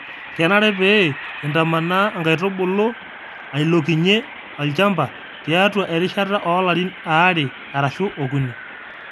kenare pee intamanaa inkaitubulu ailonkinyie olchamba tiatua erishata oo Karin aare arashu okuni